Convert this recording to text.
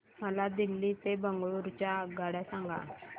मला दिल्ली ते बंगळूरू च्या आगगाडया सांगा